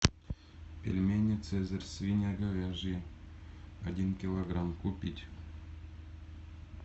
пельмени цезарь свино говяжьи один килограмм купить